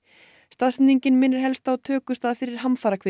staðsetningin minnir helst á tökustað fyrir